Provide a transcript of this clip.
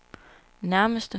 nærmeste